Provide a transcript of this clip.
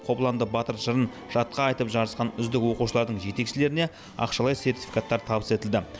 қобыланды батыр жырын жатқа айтып жарысқан үздік оқушылардың жетекшілеріне ақшалай сертификаттар табыс етілді